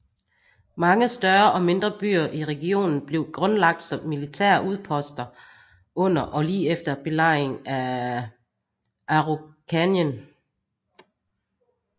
Mange større og mindre byer i regionen blev grundlagt som militære udposter under og lige efter belejringen af Araucaníen